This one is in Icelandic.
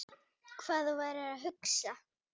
Hvað þú værir að hugsa.